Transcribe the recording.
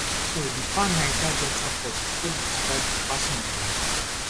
so di pan niger delta forum take describe di passing of dia founder